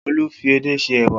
Olu fi edé se ẹwà